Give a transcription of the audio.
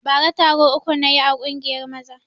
Bara taro uku na yi a ƙungiyar maza